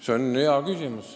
See on hea küsimus.